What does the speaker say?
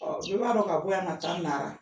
Ɔ i b'a dɔn ka bɔ yan ka taa nara